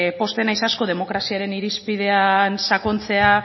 pozten naiz asko demokraziaren irizpidean sakontzea